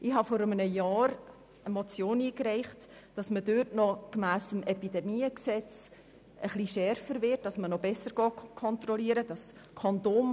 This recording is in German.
Ich habe vor einem Jahr eine Motion eingereicht, wonach diesbezüglich gemäss dem Bundesgesetz über die Bekämpfung übertragbarer Krankheiten des Menschen (Epidemiengesetz, EpG) bessere Kontrollen einzuführen sind.